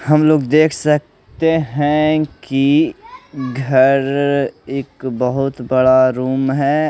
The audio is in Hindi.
हम लोग देख सकते है कि घर एक बहोत बड़ा रुम है।